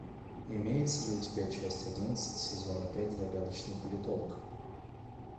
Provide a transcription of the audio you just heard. имеется ли у тебя часть одиннадцать сезона пять загадочный политолог